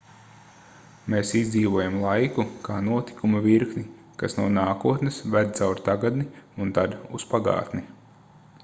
mēs izdzīvojam laiku kā notikumu virkni kas no nākotnes ved caur tagadni un tad uz pagātni